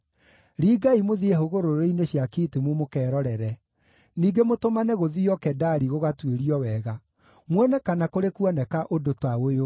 Ringai mũthiĩ hũgũrũrũ-inĩ cia Kitimu mũkerorere, ningĩ mũtũmane gũthiio Kedari gũgatuĩrio wega, muone kana kũrĩ kuoneka ũndũ ta ũyũ: